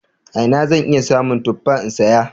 A ina zan iya samun tuffa in saya?